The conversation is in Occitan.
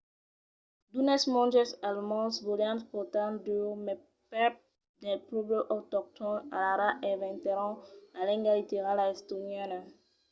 d'unes monges alemands volián portar dieu mai prèp del pòble autoctòn alara inventèron la lenga literala estoniana